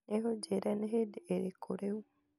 no ũnjĩĩre nĩ hĩndĩ ĩrĩkũ rĩu